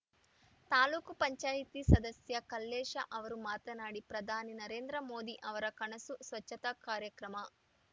ತಾಲೂಕು ಪಂಚಾಯಿತಿ ಸದಸ್ಯ ಕಲ್ಲೇಶ ಅವರು ಮಾತನಾಡಿ ಪ್ರಧಾನಿ ನರೇಂದ್ರ ಮೋದಿ ಅವರ ಕನಸು ಸ್ವಚ್ಛತಾ ಕಾರ್ಯಕ್ರಮ